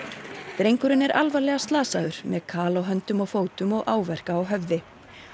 drengurinn er alvarlega slasaður með kal á höndum og fótum og áverka á höfði